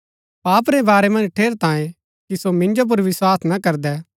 पाप रै बारै मन्ज ठेरैतांये कि सो मिन्जो पुर विस्वास ना करदै